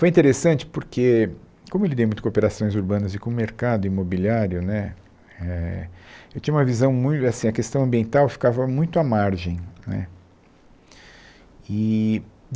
Foi interessante porque, como eu lidei muito com operações urbanas e com mercado imobiliário né eh, eu tinha uma visão mui assim a questão ambiental ficava muito à margem né eee.